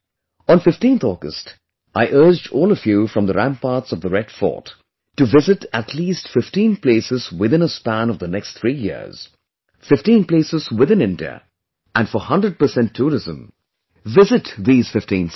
On 15th August, I urged all of you from the ramparts of the Red Fort to visit at least 15 places within a span of the next 3 years, 15 places within India and for 100% tourism, visit these 15 sites